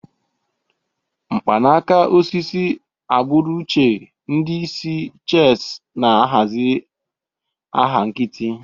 Mkpanaka osisi, agbụrụ uche, ndị isi chess na-ahazi agha nkịtị.